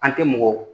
An tɛ mɔgɔ